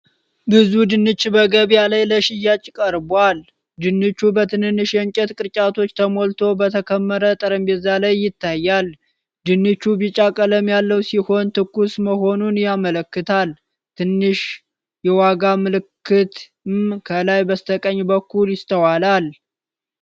ብዙ ድንች በገበያ ላይ ለሽያጭ ቀርቧል። ድንቹ በትንንሽ የእንጨት ቅርጫቶች ተሞልቶ በተከመረ ጠረጴዛ ላይ ይታያል። ድንቹ ቢጫ ቀለም ያለው ሲሆን፣ ትኩስ መሆኑን ያመለክታል። ትንሽ የዋጋ ምልክትም ከላይ በስተቀኝ በኩል ይስተዋላል።